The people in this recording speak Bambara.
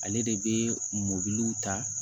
Ale de bɛ mɔbili ta